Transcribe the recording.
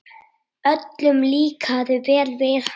Öllum líkaði vel við hana.